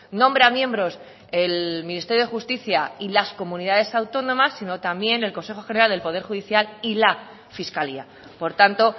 nombra miembros el ministerio de justicia y las comunidades autónomas sino también el consejo general del poder judicial y la fiscalía por tanto